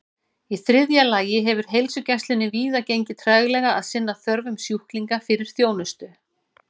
Í þriðja lagi hefur heilsugæslunni víða gengið treglega að sinna þörfum sjúklinga fyrir þjónustu.